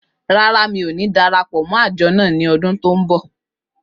Rárá, mi ò ní dara pọ̀ mọ́ àjọ náà ní ọdún tó ń bọ̀.